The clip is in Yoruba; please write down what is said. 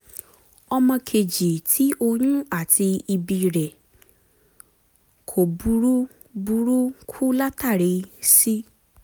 Ọmọkéjì ti oyún ati ibi rẹ ko búrú búrúku latari si